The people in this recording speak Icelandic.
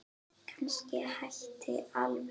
Kannski hætta alveg.